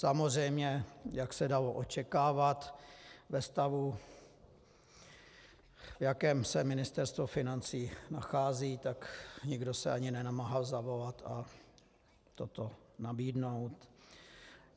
Samozřejmě jak se dalo očekávat ve stavu, v jakém se Ministerstvo financí nachází, tak nikdo se ani nenamáhal zavolat a toto nabídnout.